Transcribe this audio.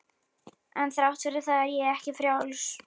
En þrátt fyrir það er ég ekki frjáls.